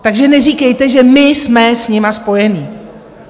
Takže neříkejte, že my jsme s nimi spojeni.